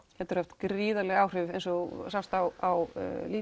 getur haft gríðarleg áhrif eins og á